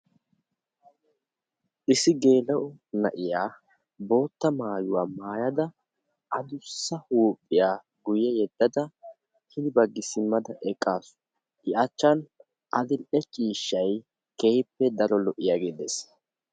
Issi gela"o na'iya bootta maayuwa maayyada addussa huuphiyaa guyye yeddadda hin bagga simmada eqqaasu; I achchan adl"e ciishshay keehippe daro lo"iyaage dees.